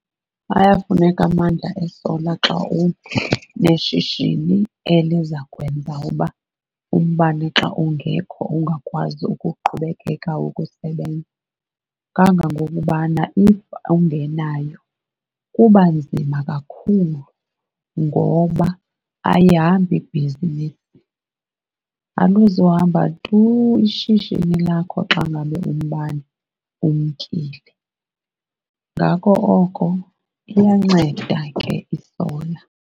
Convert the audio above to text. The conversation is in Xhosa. Ayafuneka amandla e-solar xa uneshishini eliza kwenza uba umbane xa ungekho ungakwazi ukuqhubekeka ngokusebenza, kangangokubana if awungenayo kuba nzima kakhulu ngoba ayihambi ibhizinisi. Aluzuhamba tu ishishini lakho xa ngabe umbane umkile. Ngako oko iyanceda ke i-solar.